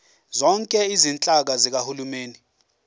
zonke izinhlaka zikahulumeni